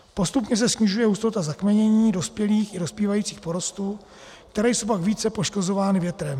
Postupně se snižuje hustota - zakmenění - dospělých i dospívajících porostů, které jsou pak více poškozovány větrem.